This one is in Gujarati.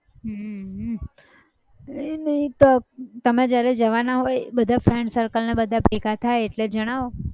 હમ કઈ નહિ તો તમેં જયારે જવાના હોય બધા friend circle ને બધા ભેગા થાય એટલે જણાવો.